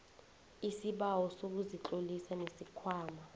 isibawo sokuzitlolisa nesikhwama